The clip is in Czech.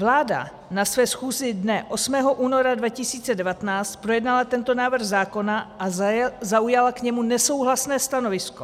Vláda na své schůzi dne 8. února 2019 projednala tento návrh zákona a zaujala k němu nesouhlasné stanovisko.